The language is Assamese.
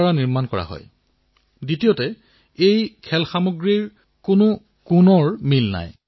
আমাৰ দেশত ইমান বিষয় আছে ইমান উপলব্ধি আছে এনে সমৃদ্ধ ইতিহাস আছে